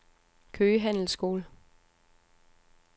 Køge Handelsskole